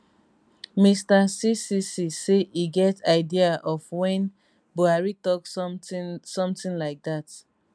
mr ccc say e get idea of wen buhari tok sometin sometin like dat